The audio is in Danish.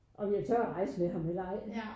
Om jeg tøt rejse med ham eller ej